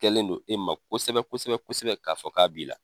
kɛlen do i ma kosɛbɛ kosɛ bɛsɛbɛ k'a fɔ k'a b'i la.